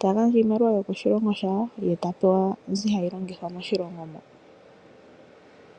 Ta gandja iimaliwa yo koshilongo shawo, ye ta pewa mbi hayi longithwa moshilongo moka.